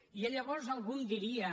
i llavors algú em diria